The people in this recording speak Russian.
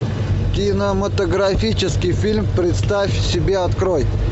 кинематографический фильм представь себе открой